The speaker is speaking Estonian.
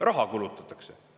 Raha kulutatakse.